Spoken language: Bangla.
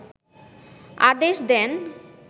আদেশ দেন